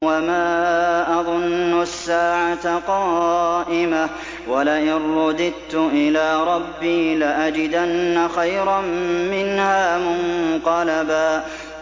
وَمَا أَظُنُّ السَّاعَةَ قَائِمَةً وَلَئِن رُّدِدتُّ إِلَىٰ رَبِّي لَأَجِدَنَّ خَيْرًا مِّنْهَا مُنقَلَبًا